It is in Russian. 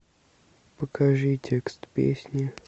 покажи текст песни